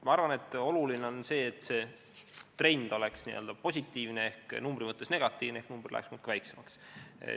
Ma arvan, et oluline on, et see trend oleks n-ö positiivne ehk numbri mõttes negatiivne, st et number läheks muudkui väiksemaks.